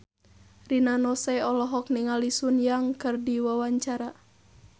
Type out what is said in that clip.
Rina Nose olohok ningali Sun Yang keur diwawancara